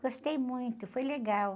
Gostei muito, foi legal.